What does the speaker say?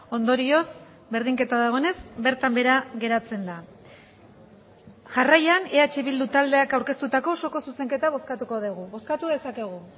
ondorioz berdinketa dagoenez bertan behera geratzen da jarraian eh bildu taldeak aurkeztutako osoko zuzenketa bozkatuko dugu bozkatu dezakegu